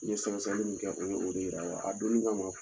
N ye sɛgɛ sɛgɛli min kɛ u ye o de yira wa a don